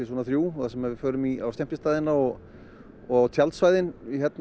þar sem við förum á skemmtistaðina og og tjaldsvæðin